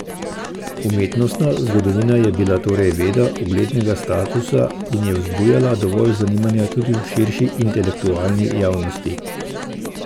Umetnostna zgodovina je bila torej veda uglednega statusa in je vzbujala dovolj zanimanja tudi v širši intelektualni javnosti?